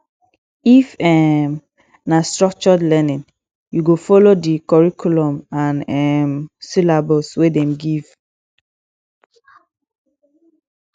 if um na structured learning you go folo di curriculum and um syllabus wey dem give